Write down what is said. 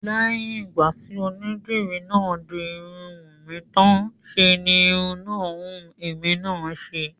Lẹ́yìn ìgbà tí onídìri náà di irun Wùnmí tán ṣe ni irun náà wù èmi náà ṣe